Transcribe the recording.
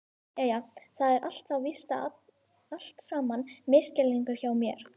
Jæja, það er þá víst allt saman misskilningur hjá mér.